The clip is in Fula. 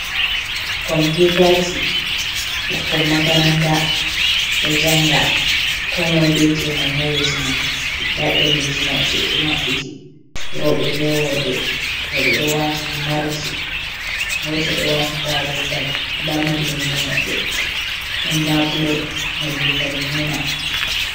Computaji ɓikkon makaranta ɗo jaanga ko moi be jemum ha yeso mum, nda ɗereji maɓɓe ɓe maɓɓiti rowɓe be worɓe. Rowɓe ɗo wati himarji go to ɗo wati darugal, nda mallumjo maɓɓe ɗon labule nolde zargina.